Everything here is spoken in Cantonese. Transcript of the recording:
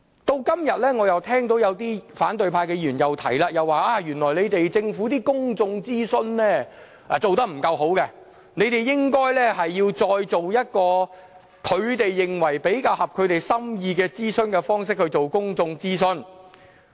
到了今天，我又聽到有些反對派議員說政府的公眾諮詢做得不夠好，應該再以他們認為比較符合心意的方式進行公眾諮詢。